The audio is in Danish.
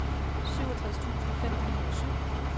syvogtres tusind fem hundrede og syv